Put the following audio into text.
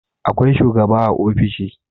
Akwai shugaba a ofishi